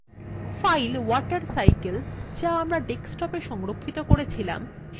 file watercycle যা আমরা desktopwe সংরক্ষিত করেছিলাম সেটিকে খোলা যাক